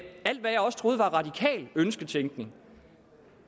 alt hvad jeg også troede var radikal ønsketænkning